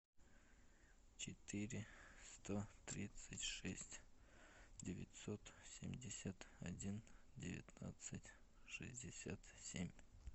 четыре сто тридцать шесть девятьсот семьдесят один девятнадцать шестьдесят семь